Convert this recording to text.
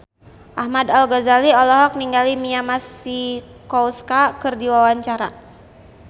Ahmad Al-Ghazali olohok ningali Mia Masikowska keur diwawancara